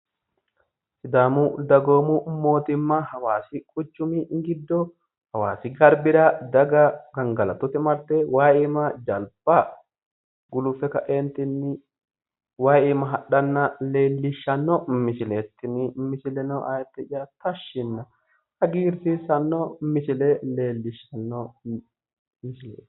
Sidaamu dagoomu moottimma hawaasi quchumi giddo hawaasi garbira daga gangalatote marte wayi iima jalba guluffe ka'eentinni wayi iima hadhanna leellishshanno misileeti tini. Misileno ayidde'ya tashshinna hagiirsiissanno misile leellishshanno.